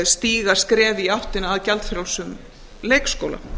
stíga skref í áttina að gjaldfrjálsum leikskóla